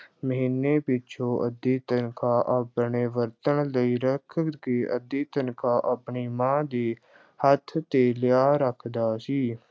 ਮਹੀਨੇ ਪਿੱਛੋਂ ਅੱਧੀ ਤਨਖ਼ਾਹ ਆਪਣੇ ਵਰਤਣ ਲਈ ਰੱਖ ਕੇ ਅੱਧੀ ਤਨਖ਼ਾਹ ਆਪਣੀ ਮਾਂ ਦੇ ਹੱਥ ਤੇ ਲਿਆ ਰੱਖਦਾ ਸੀ।